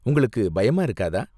உங்களுக்கு பயமா இருக்காதா?